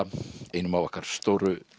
einum af okkar stóru